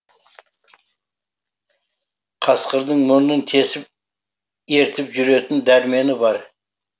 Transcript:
қасқырдың мұрнын тесіп ертіп жүретін дәрмені бар